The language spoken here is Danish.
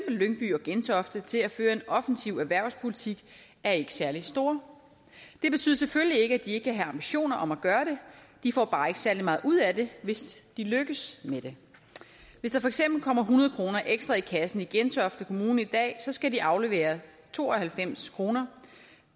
lyngby og gentofte til at føre en offensiv erhvervspolitik er ikke særlig store det betyder selvfølgelig ikke at de ikke kan have ambitioner om at gøre det de får bare ikke særlig meget ud af det hvis de lykkes med det hvis der for eksempel kommer hundrede kroner ekstra i kassen i gentofte kommune i dag skal de aflevere to og halvfems kroner